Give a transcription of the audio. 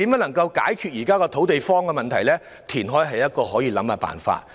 要解決現時"土地荒"的問題，填海是可以考慮的辦法。